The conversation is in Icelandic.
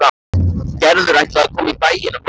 Gerður ætlaði að koma í bæinn á morgun.